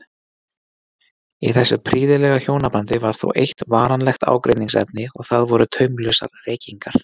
Í þessu prýðilega hjónabandi var þó eitt varanlegt ágreiningsefni og það voru taumlausar reykingar